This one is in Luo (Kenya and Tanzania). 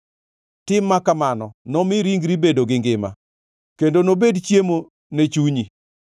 Tim ma kamano nomi ringri bedo gi ngima kendo nobed chiemo ne chunyi.